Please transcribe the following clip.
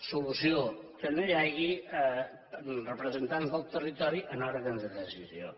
solució que no hi hagi representants del territori en òrgans de decisió